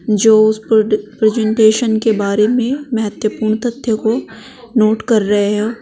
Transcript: जो उस प्रजेंटेशन के बारे में महत्वपूर्ण तथ्य को नोट कर रहे है।